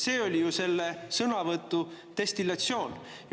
See oli ju selle sõnavõtu destillatsioon.